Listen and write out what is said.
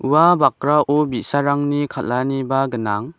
ua bakrao bi·sarangni kal·aniba gnang.